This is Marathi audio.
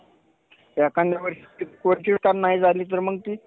एखांद्यावेळेस नाही झाली तर मग ती